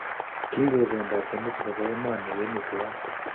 Kigipendate Nusu nebo emoni kemi tuwan.